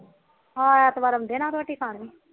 ਹਾ ਐਤਵਾਰ ਆਉਂਦੇ ਨਾ ਰੋਟੀ ਖਾਣ